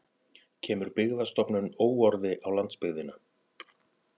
Kemur Byggðastofnun óorði á landsbyggðina